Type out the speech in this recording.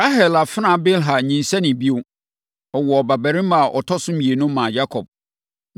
Rahel afenaa Bilha nyinsɛnee bio, woo ɔbabarima a ɔtɔ so mmienu maa Yakob.